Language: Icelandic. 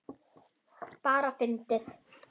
Bara fyndið.